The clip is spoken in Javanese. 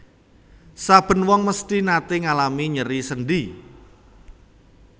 Saben wong mesthi naté ngalami nyeri sendhi